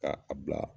Ka a bila